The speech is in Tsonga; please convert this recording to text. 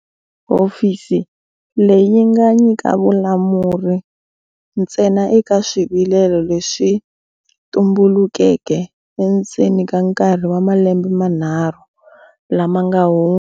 Hofisi leyi yi nga nyika vulamuri ntsena eka swivilelo leswi swi tumbulukeke endzeni ka nkarhi wa malembe manharhu lama nga hundza.